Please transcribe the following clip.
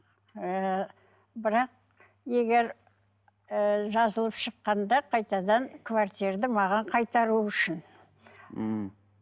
ы бірақ егер ы жазылып шыққанда қайтадан маған қайтару үшін мхм